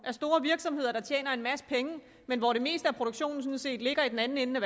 af store virksomheder der tjener en masse penge men hvor det meste af produktionen sådan set ligger i den anden ende af